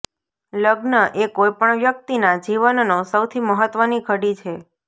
લગ્ન એ કોઈ પણ વ્યક્તિના જીવનનો સૌથી મહત્વની ઘડી છે